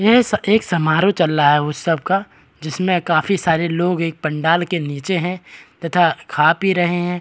ये एक समारोह चल रहा उ सबका जिसमें काफी सारे लोग एक पंडाल के नीचे हैं तथा खा पी रहे हैं।